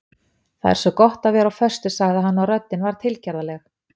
Það er svo gott að vera á föstu sagði hann og röddin var tilgerðarleg.